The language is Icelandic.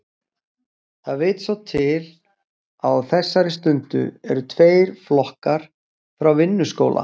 Það vill svo til að á þessari stundu eru tveir flokkar frá Vinnuskóla